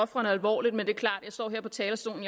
ofrene alvorligt men jeg står her på talerstolen